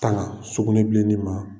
Tanga sukunɛbilennin ma